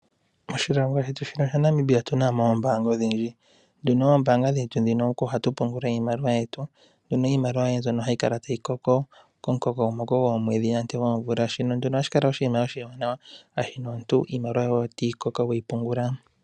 Moshilongo shetu shino sha Namibia otu na mo oombanga odhindji, nduno oombanga dhetu dhino oko ha tu pungula iimaliwa yetu. Mbyono iimaliwa yoye mbyono hayi kala tayi koko komukokomoko goomweedhi komvula. Shino ohashi kala nduno oshinima oshiwanawa, shashi omuntu iimaliwa yoye otayi koko we yi pungula.